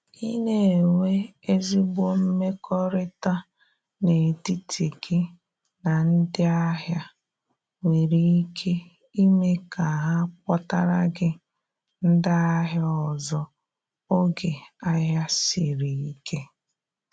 I na enwe ezigbo mmekọrịta n’etiti gị na ndị ahịa nwere ike ime ka ha kpọtara gi ndị ahia ọzọ oge ahia siri ike.